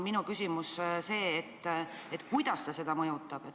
Minu küsimus ongi, kuidas see seda mõjutab.